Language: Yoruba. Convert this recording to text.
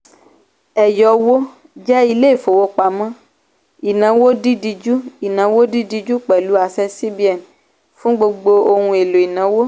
eyowo jẹ́ ilé ìfowópamọ́ ìnáwó dídíjú ìnáwó dídíjú pẹ̀lụ àṣẹ cbn fún gbogbo ohun èlò ìnáwó.